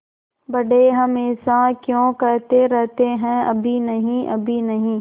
बड़े हमेशा क्यों कहते रहते हैं अभी नहीं अभी नहीं